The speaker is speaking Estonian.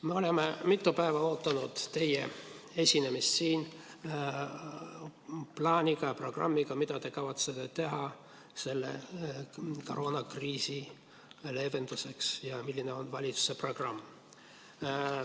Me oleme mitu päeva oodanud teie esinemist siin, et te tutvustaksite plaani, mida te kavatsete teha koroonakriisi leevenduseks, ja seda, milline on valitsuse programm.